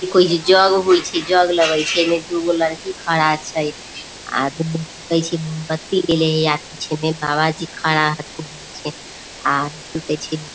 इ कउची जग होइ छी जग लगई छी दुगो लईकी खड़ा छी आदमी की कइसे मोमबत्ती पीछे में बाबा जी खड़ा एथी लगई छे --